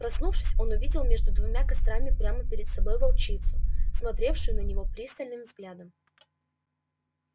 проснувшись он увидел между двумя кострами прямо перед собой волчицу смотревшую на него пристальным взглядом